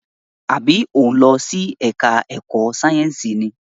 Àbí o ń lọ sí ẹka ẹ̀kọ́ sáyẹnsì ni?